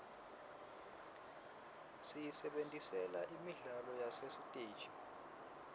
siyisebentisela imidlalo yasesiteji